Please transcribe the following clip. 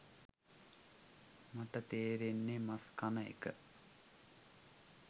මට තේරෙන්නේ මස් කන එක